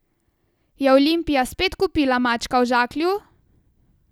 Je Olimpija spet kupila mačka v žaklju?